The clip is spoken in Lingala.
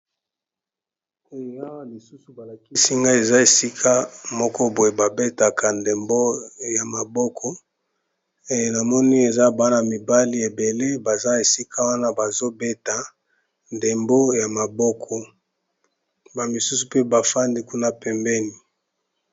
Awa lisusu ba lakisi nga eza esika moko boye ba betaka ndembo ya maboko, namoni eza bana mibali ebele baza esika wana bazo beta ndembo ya maboko ba misusu pe bafandi kuna pembeni.